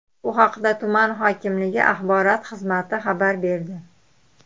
Bu haqda tuman hokimligi axborot xizmati xabar berdi .